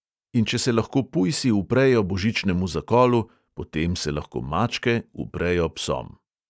In če se lahko pujsi uprejo božičnemu zakolu, potem se lahko mačke uprejo psom.